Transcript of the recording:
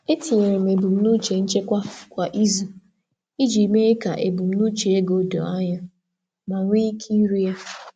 Etinyere m ebumnuche nchekwa kwa izu iji mee ka ebumnuche ego doo anya ma nwee ike iru ya.